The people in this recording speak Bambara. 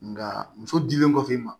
Nga muso dilen kɔfɛ i ma